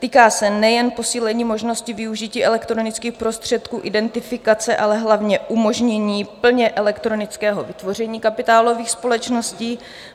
Týká se nejen posílení možnosti využití elektronických prostředků identifikace, ale hlavně umožnění plně elektronického vytvoření kapitálových společností.